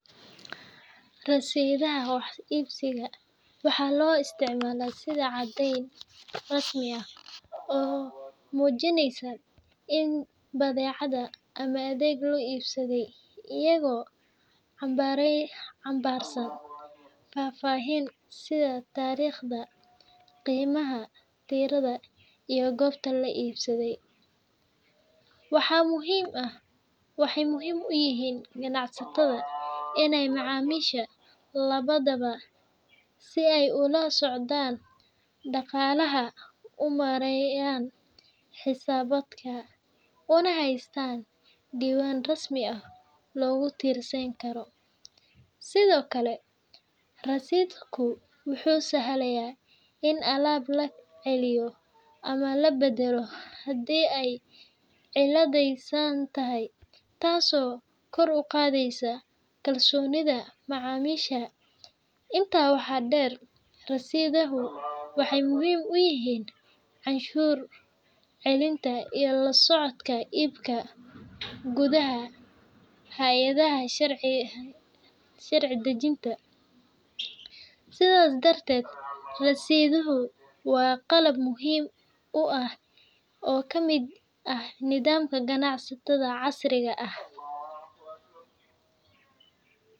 Rasiidhada wax iibsiga waxaa loo isticmaalaa sidii caddeyn rasmi ah oo muujinaysa in badeecad ama adeeg la iibsaday, iyagoo xambaarsan faahfaahin sida taariikhda, qiimaha, tirada iyo goobta la iibsaday. Waxay muhiim u yihiin ganacsatada iyo macaamiisha labadaba si ay ula socdaan dhaqaalaha, u maareeyaan xisaabaadka, una haystaan diiwaan rasmi ah oo lagu tiirsan karo. Sidoo kale, rasiidhku wuxuu sahlayaa in alaab la celiyo ama la beddelo haddii ay cilladaysan tahay, taasoo kor u qaadaysa kalsoonida macaamiisha. Intaa waxaa dheer, rasiidhadu waxay muhiim u yihiin canshuur celinta iyo la socodka iibka gudaha hay’adaha sharci-dejinta. Sidaas darteed, rasiidhadu waa qayb muhiim ah oo ka mid ah nidaamka ganacsiga casriga ah.